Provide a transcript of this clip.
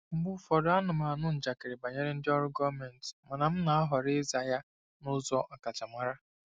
Mgbe ụfọdụ, ana m anụ njakịrị banyere ndị ọrụ gọọmentị mana m na-ahọrọ ịza ya n'ụzọ ọkachamara.